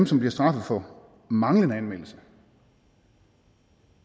som bliver straffet for manglende anmeldelse og